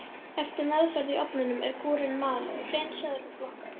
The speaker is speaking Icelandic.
Eftir meðferð í ofninum er gúrinn malaður, hreinsaður og flokkaður.